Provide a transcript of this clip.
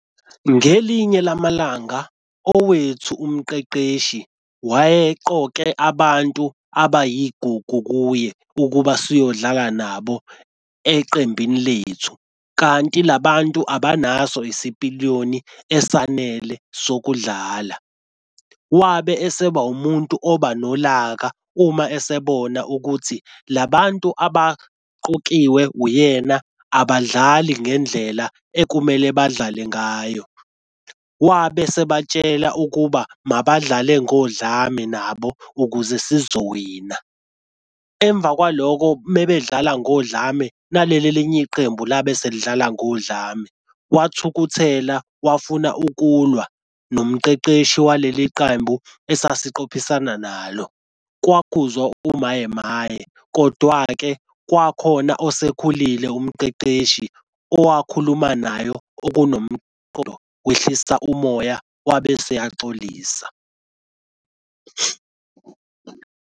Ngelinye lamalanga owethu umqeqeshi wayeqoke abantu abayigugu kuye ukuba siyodlala nabo eqembini lethu. Kanti labantu abanaso isipiliyoni esanele sokudlala. Wabe eseba umuntu oba nolaka uma esebona ukuthi labantu abaqokiwe uyena abadlali ngendlela ekumele badlale ngayo. Wabe sebatshela ukuba mabadlale ngodlame nabo ukuze sizowina. Emva kwalokho mebedlala ngodlame naleli elinye iqembu labe selidlala ngodlame, wathukuthela wafuna ukulwa nomqeqeshi waleli qembu esasiqophisana nalo. Kwakhuzwa umaye maye kodwa-ke kwakhona osekhulile umqeqeshi owakhuluma nayo okunomqondo, wehlisa umoya wabe eseyaxolisa.